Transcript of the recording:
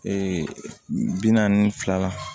bi naani ni fila la